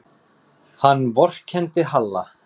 Hann vorkenndi Halla.